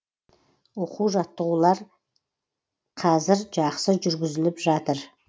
оқу жаттығулар қәзір жақсы жүргізіліп жатыр